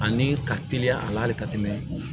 Ani ka teliya a la hali ka tɛmɛ